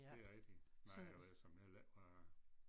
Det er rigtigt nej jeg ved såmænd heller ikke hvad